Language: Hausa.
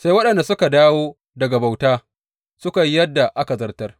Sai waɗanda suka dawo daga bauta suka yi yadda aka zartar.